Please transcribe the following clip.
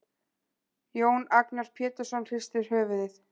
Jón Agnar Pétursson hristir höfuðið.